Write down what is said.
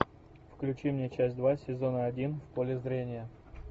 включи мне часть два сезона один в поле зрения